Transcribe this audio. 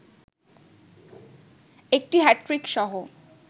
একটি হ্যাট্রিকসহ